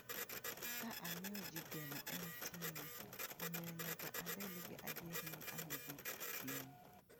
Ka amiyo ji geno en ting’, omiyo nyaka abed gi adier ni an gi ting’.